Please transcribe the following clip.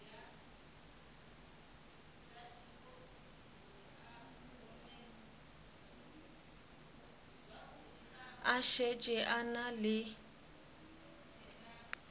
a šetše a na le